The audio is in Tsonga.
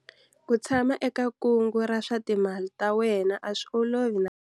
Ku tshama eka kungu ra swa timali ra wena a swi olovi na.